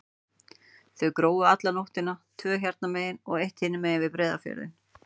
Þau grófu alla nóttina, tvö hérna megin og eitt hinum megin, við Breiðafjörðinn.